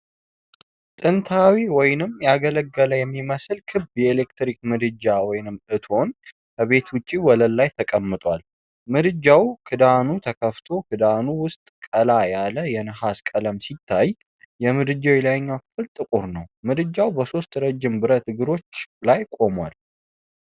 ጥንታዊ ወይም ያገለገለ የሚመስል ክብ የኤሌክትሪክ ምድጃ (እቶን) ከቤት ውጭ ወለል ላይ ተቀምጧል። ምድጃው ክዳኑ ተከፍቶ፣ ክዳኑ ውስጥ ቀላ ያለ የነሐስ ቀለም ሲታይ፣ የምድጃው የላይኛው ክፍል ጥቁር ነው። ምድጃው በሦስት ረዥም ብረት እግሮች ላይ ቆሟል፡፡